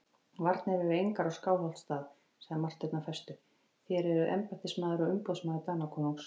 Varnir eru engar á Skálholtsstað, sagði Marteinn af festu,-þér eruð embættismaður og umboðsmaður Danakonungs.